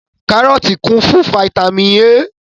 Kárọ́tì kún fún fataímìn A.